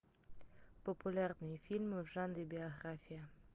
популярные фильмы в жанре биография